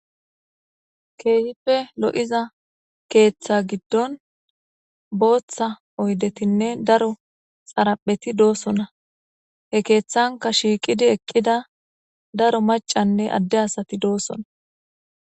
keehipe lo7iza keeththa giddon booththa oydetinne daro xarapheti doosona he keeththanka shiiqidi eqqida daro macanne adde asati doossona